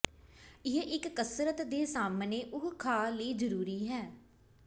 ਇਹ ਇੱਕ ਕਸਰਤ ਦੇ ਸਾਮ੍ਹਣੇ ਉਹ ਖਾ ਲਈ ਜ਼ਰੂਰੀ ਹੈ